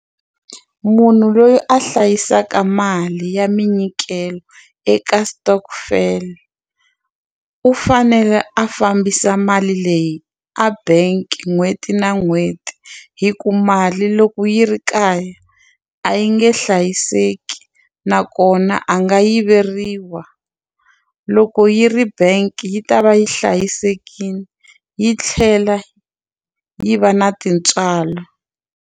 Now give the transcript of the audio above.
Munhu loyi a hlayisaka mali ya minyikelo eka stockvel u fanele a fambisa mali leyi a bank n'hweti na n'hweti hi ku mali loko yi ri kaya a yi nge hlayiseki nakona a nga yiveriwa loko yi ri bank yi ta va yi hlayisekile yi tlhela yi va na tintswalo.